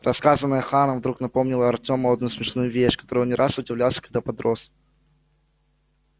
рассказанное ханом вдруг напомнило артему одну смешную вещь которой он не раз удивлялся когда подрос